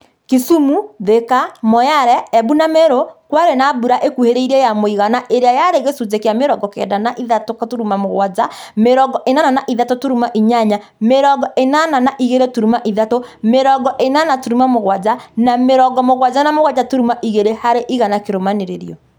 Kisumu, Thika, Moyale, Embu na Meru kwarĩ na mbura ĩkuhĩrĩirie ya mũigana ĩrĩa yarĩ gĩcunjĩ kĩa mĩrongo kenda na ithathatu turuma mugwanja, mĩrongo ĩnana na ithatũ turuma inyanya, mĩrongo ĩnana na igĩrĩ turuma ithatu, mirongo ĩnana turuma mũgwanja, na mĩrongo mũgwanja na mũgwanja turuma igĩrĩ harĩ igana kĩrũmanĩrĩrio